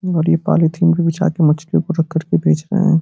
और ये पोलीथिन पे बिछाके मछलियों को रखकर के बेच रहे हैं।